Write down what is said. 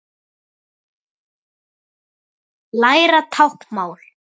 Læra táknmál